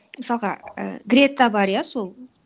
мысалға і грета бар иә сол